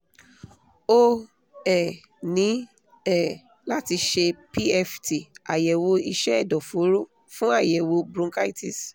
o um ní um láti ṣe pft àyẹ̀wò iṣẹ́ ẹ̀dọ̀fóró fún àyẹ̀wò bronchitis